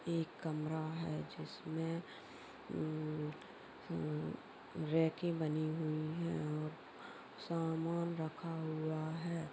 एक कमरा है जिसमे रैके बनी हुई है और सामान रखा हुआ है।